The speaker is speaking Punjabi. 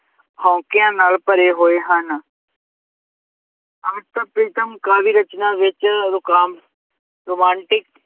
ਹੋਂਕਿਆਂ ਨਾਲ ਭਰੇ ਹੋਏ ਹਨ ਅੰਮ੍ਰਿਤਾ ਪ੍ਰੀਤਮ ਕਾਵਿ ਰਚਨਾ ਵਿੱਚ ਰੁਕਾਮ~ romantic